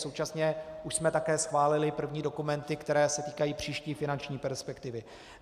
Současně už jsme také schválili první dokumenty, které se týkají příští finanční perspektivy.